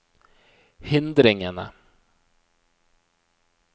hindringene